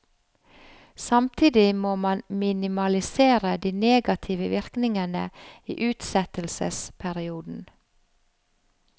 Samtidig må man minimalisere de negative virkningene i utsettelsesperioden.